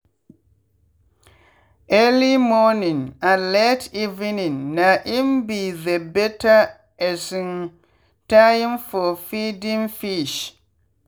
early morning and late evening na im be the better um time for feeding fish.